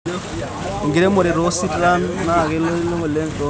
Enkiremore too sitan naa kiyoloti oleng tomijini.